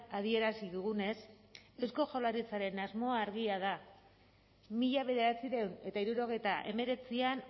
adierazi dugunez eusko jaurlaritzaren asmoa argia da mila bederatziehun eta hirurogeita hemeretzian